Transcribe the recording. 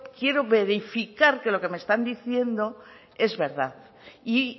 quiero verificar que lo que me están diciendo es verdad y